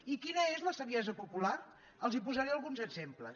i quina és la saviesa popular els en posaré alguns exemples